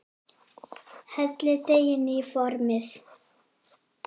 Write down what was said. Hellið deiginu í formið.